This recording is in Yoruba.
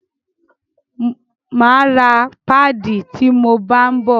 Máa ra páàdì ti mo bá ń bọ̀.